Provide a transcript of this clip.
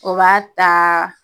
O b'a taa